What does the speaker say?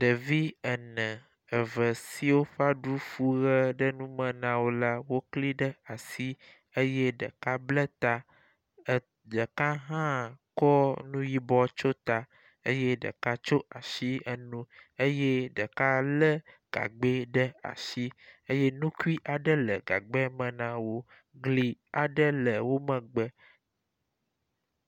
Ɖevi ene eve siwo ƒe aɖu fu ʋe ɖe numen a wo la wokli ɖe asi eye ɖeka ble ta ɖeka hã kɔ nu yibɔ tso ta eye ɖeka tsɔo asi enu eye ɖeka le gabgbe ɖe asi eye nukui aɖe e gagbea me na wo. Gli aɖe le wo megbe.